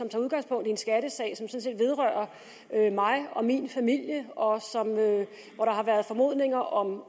tager udgangspunkt i en skattesag som sådan set vedrører mig og min familie og hvor der har været formodninger om